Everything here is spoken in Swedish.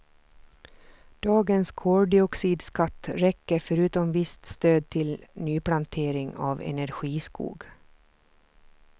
Dagens koldioxidskatt räcker förutom visst stöd till nyplantering av energiskog.